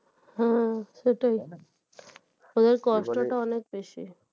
হ্যাঁ সেটাই আবার cost টা অনেক বেশি